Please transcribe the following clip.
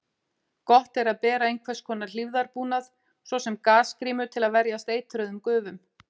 Gott er að bera einhvers konar hlífðarbúnað, svo sem gasgrímu, til að verjast eitruðum gufum.